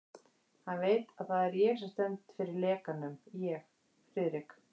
Hann veit, að það er ég sem stend fyrir lekanum ég, Friðrik